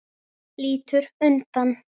Lítur undan.